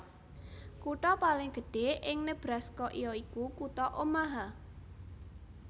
Kutha paling gedhé ing Nebraska ya iku kutha Omaha